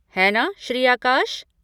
है ना श्री आकाश?